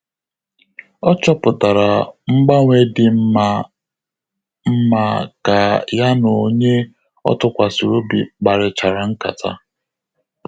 Ọ chọpụtara ngbanwe dị mma mma ka ya na onye ọ tụkwasịrị obi kparịchara ńkátà